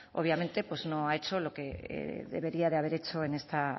obviamente pues no ha hecho lo que debería de haber hecho en esta